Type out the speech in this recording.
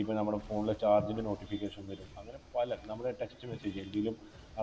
ഇപ്പോൾ നമ്മുടെ Phone ലെ charge ൻ്റെ Notification വരും അങ്ങനെ പല നമ്മുടെ Text message